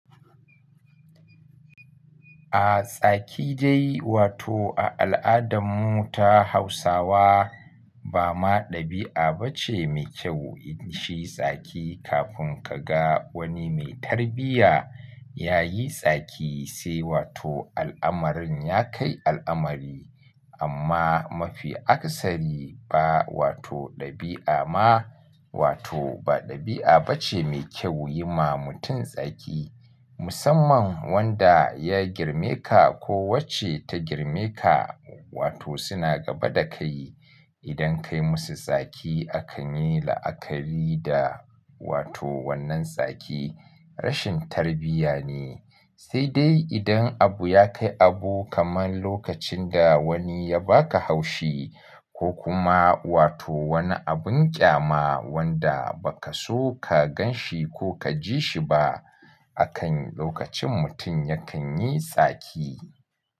A tsaki je wato a al'adarmu ta Hausawa ba ma ɗabi'a ba ce mai kyau yi shi tsaki kafin ka ga wani mai tarbiyya ya yi tsaki sai wato al'amarin ya kai al'amari. Amma mafi aksari ba wato ɗabi'a ma wato ba ɗabi'a ba ce mai kyau yi ma mutum tsaki musamman wanda ya girme ka ko wacce ta girme ka wato suna gaba da kai. Idan kai musu tsaki akan yi la'akari da wato wannan tsaki rashin tarbiyya ne. Sai dai idan abu ya kai abu kamar lokacin da wani ya baka haushi ko kuma wato wani abin ƙyama wanda ba ka so ka gan shi ko ka ji shi ba akan lokacin mutum yakan yi tsaki.